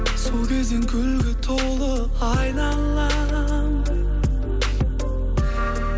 сол кезден гүлге толы айналам